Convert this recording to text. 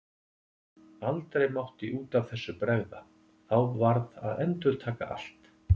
Aldrei mátti út af þessu bregða, þá varð að endurtaka allt.